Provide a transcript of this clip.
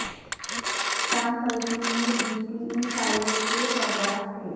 شان Blakemore B T E pilot کے سربراہ تھے